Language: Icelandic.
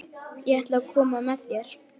Ég ætla að koma með þér!